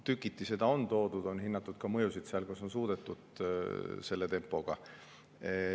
Tükati seda on toodud, on hinnatud ka mõjusid seal, kus on suudetud selle tempoga.